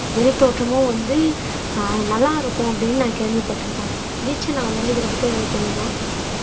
வெளித்தோற்றமும் வந்து நல்லா இருக்கும் அப்படீன்னு நான் கேள்விப்பட்டிருக்க தீக்ஷனா உங்களுக்கு இதைப்பத்தி ஏதாவது தெரியுமா